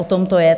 O tom to je.